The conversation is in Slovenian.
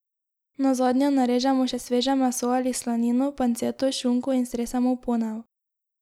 Nazadnje narežemo še sveže meso ali slanino, panceto, šunko in stresemo v ponev.